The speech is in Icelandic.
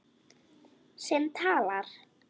Sem talar.